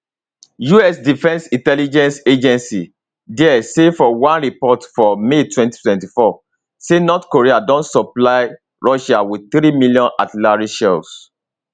us defence intelligence agency dia say for one report for may 2024 say north korea don supply russia wit three million artillery shells